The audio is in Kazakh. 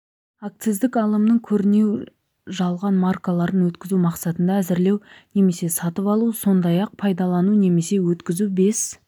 акциздік алымның көрінеу жалған маркаларын өткізу мақсатында әзірлеу немесе сатып алу сондай-ақ пайдалану немесе өткізу бес